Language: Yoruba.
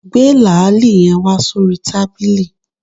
Gbé làálì yen wá sórí tábìlì